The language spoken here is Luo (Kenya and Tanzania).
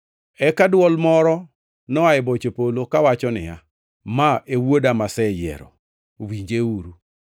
Eka dwol moro noa e boche polo, kawacho niya, “Ma e Wuoda, maseyiero; winjeuru.”